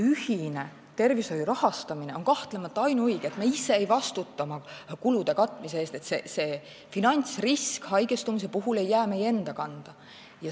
Ühine tervishoiu rahastamine on kahtlemata ainuõige, see, et me ise ei vastuta oma kulude katmise eest, et finantsrisk haigestumise puhul ei jää meie enda kanda.